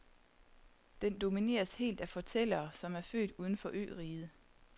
Den domineres helt af fortællere, som er født uden for øriget.